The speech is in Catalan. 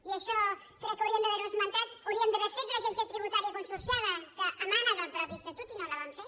i això crec que hauríem d’haver ho esmentat hauríem d’haver fet l’agència tributària consorciada que emana del mateix estatut i no la vam fer